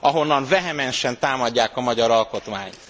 ahonnan vehemensen támadják a magyar alkotmányt.